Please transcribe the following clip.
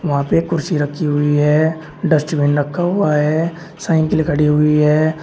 वहां पे एक कुर्सी रखी हुई है डस्टबिन रखा हुआ है साइकिल खड़ी हुई है।